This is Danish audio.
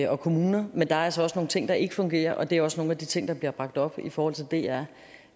og kommuner men der er altså også nogle ting der ikke fungerer og det er også nogle af de ting der bliver bragt op i forhold til dr